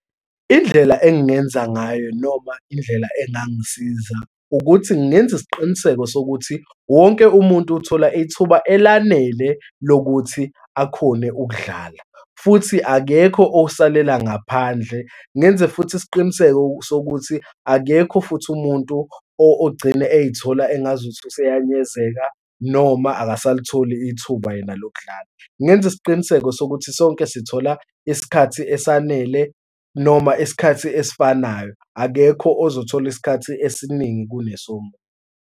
Indlela engingenza ngayo noma indlela engangisiza, ukuthi ngenze isiqiniseko sokuthi wonke umuntu uthola ithuba elanele lokuthi akhone ukudlala, futhi akekho osalela ngaphandle. Ngenze futhi isiqiniseko sokuthi akekho futhi umuntu ogcine ey'thola engazuthi useyanyezeka noma akasalitholi ithuba yena lokudlala. Ngingenza isiqiniseko sokuthi sonke sithola isikhathi esanele noma isikhathi esifanayo, akekho ozothola isikhathi esiningi kunesomunye.